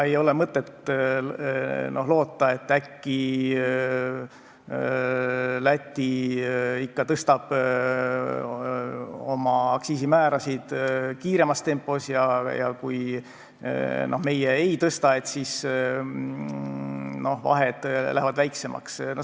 Ei ole mõtet loota, et äkki Läti tõstab oma aktsiisimäärasid kiiremas tempos ja kui meie ei tõsta, et siis vahed lähevad väiksemaks.